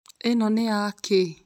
Ino nĩ ya kĩĩ?